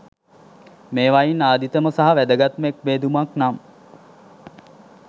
මේවායින් ආදිතම සහ වැදගත්ම එක් බෙදුමක් නම්